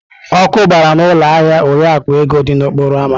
Ọkụ gbara n'ụlọ ahịa Oriakụ Ego dị n'okporo ámá.